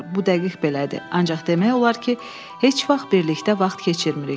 Bu dəqiq belədir, ancaq demək olar ki, heç vaxt birlikdə vaxt keçirmirik.